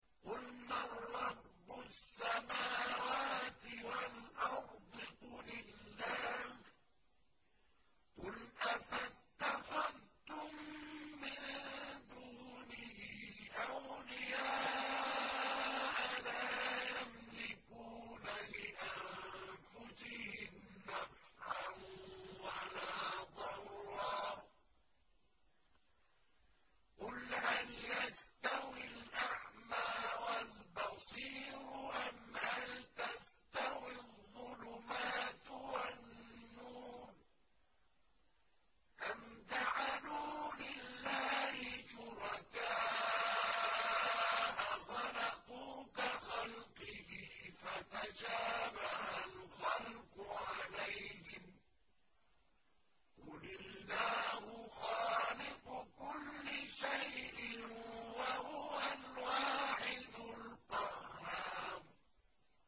قُلْ مَن رَّبُّ السَّمَاوَاتِ وَالْأَرْضِ قُلِ اللَّهُ ۚ قُلْ أَفَاتَّخَذْتُم مِّن دُونِهِ أَوْلِيَاءَ لَا يَمْلِكُونَ لِأَنفُسِهِمْ نَفْعًا وَلَا ضَرًّا ۚ قُلْ هَلْ يَسْتَوِي الْأَعْمَىٰ وَالْبَصِيرُ أَمْ هَلْ تَسْتَوِي الظُّلُمَاتُ وَالنُّورُ ۗ أَمْ جَعَلُوا لِلَّهِ شُرَكَاءَ خَلَقُوا كَخَلْقِهِ فَتَشَابَهَ الْخَلْقُ عَلَيْهِمْ ۚ قُلِ اللَّهُ خَالِقُ كُلِّ شَيْءٍ وَهُوَ الْوَاحِدُ الْقَهَّارُ